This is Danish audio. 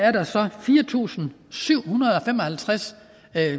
er der så fire tusind syv hundrede og fem og halvtreds